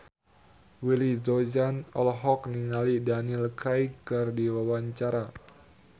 Willy Dozan olohok ningali Daniel Craig keur diwawancara